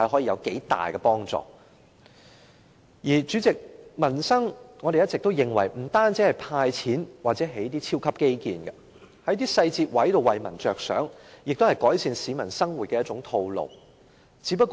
主席，我們一直認為處理民生問題，不單是派錢或興建超級基建，政府在一些細節為民設想，也是改善市民生活的一種方式。